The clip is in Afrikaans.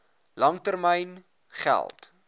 lang termyn geld